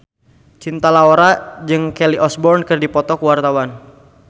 Cinta Laura jeung Kelly Osbourne keur dipoto ku wartawan